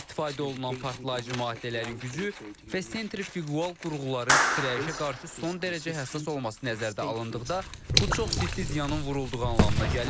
İstifadə olunan partlayıcı maddələrin gücü, festcenter fiqual qurğuların titrəyişə qarşı son dərəcə həssas olması nəzərdə alındıqda, bu çox ciddi ziyanın vurulduğu anlamına gəlir.